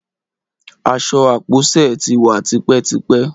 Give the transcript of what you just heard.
Aṣọ ápóse tí wà tipétipé